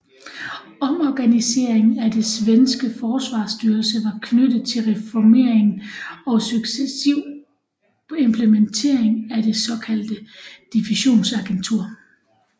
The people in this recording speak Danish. Omorganiseringen af det svenske forsvarsstyrelse var knyttet til reformeringen og successiv implementering af det såkaldte divisionsagentur